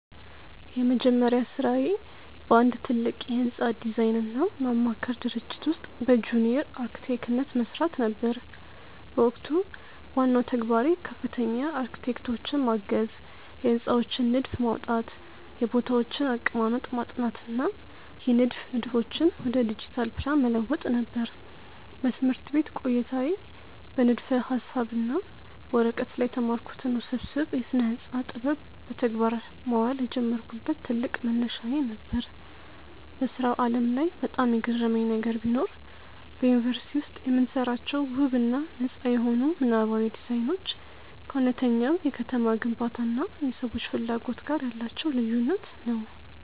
የመጀመሪያ ሥራዬ በአንድ ትልቅ የሕንፃ ዲዛይንና ማማከር ድርጅት ውስጥ በጁኒየር አርክቴክትነት መሥራት ነበር። በወቅቱ ዋናው ተግባሬ ከፍተኛ አርክቴክቶችን ማገዝ፣ የሕንፃዎችን ንድፍ ማውጣት፣ የቦታዎችን አቀማመጥ ማጥናት እና የንድፍ ንድፎችን ወደ ዲጂታል ፕላን መለወጥ ነበር። በትምህርት ቤት ቆይታዬ በንድፈ-ሐሳብ እና በወረቀት ላይ የተማርኩትን ውስብስብ የስነ-ህንፃ ጥበብ በተግባር ማዋል የጀመርኩበት ትልቅ መነሻዬ ነበር። በሥራው ዓለም ላይ በጣም የገረመኝ ነገር ቢኖር፣ በዩኒቨርሲቲ ውስጥ የምንሰራቸው ውብ እና ነጻ የሆኑ ምናባዊ ዲዛይኖች ከእውነተኛው የከተማ ግንባታ እና የሰዎች ፍላጎት ጋር ያላቸው ልዩነት ነው።